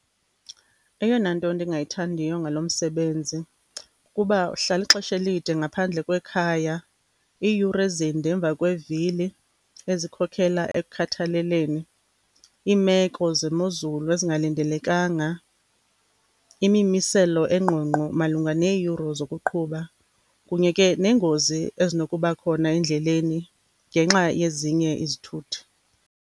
Eyona nto ndingayithandiyo ngalo msebenzi kukuba uhlala ixesha elide ngaphandle kwekhaya, iiyure ezinde emva kwevili ezikhokela ekukhathaleleni. Iimeko zemozulu ezingalindelekanga, imimiselo engqongqo malunga neeyure zokuqhuba kunye ke neengozi ezinokuba khona endleleni ngenxa yezinye izithuthi.